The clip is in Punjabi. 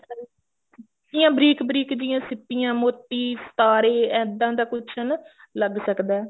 ਸਿੱਪੀਆ ਬਰੀਕ ਬਰੀਕ ਜਿਹੀਆ ਸਿੱਪੀਆ ਮੋਤੀ ਸਿਤਾਰੇ ਇੱਦਾਂ ਦਾ ਕੁੱਛ ਹਨਾ ਲਗ ਸਕਦਾ